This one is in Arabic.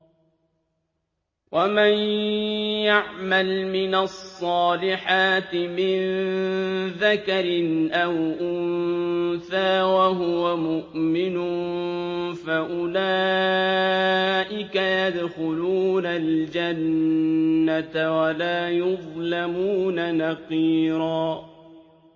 وَمَن يَعْمَلْ مِنَ الصَّالِحَاتِ مِن ذَكَرٍ أَوْ أُنثَىٰ وَهُوَ مُؤْمِنٌ فَأُولَٰئِكَ يَدْخُلُونَ الْجَنَّةَ وَلَا يُظْلَمُونَ نَقِيرًا